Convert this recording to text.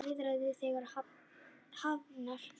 Viðræður eru þegar hafnar.